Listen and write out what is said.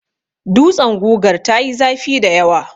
Dutsen gugar ta yi zafi dayawa.